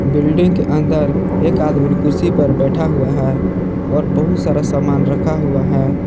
Building के अंदर एक आदमी कुर्सी पर बैठा हुआ है और बहुत सारा सामान रखा हुआ है।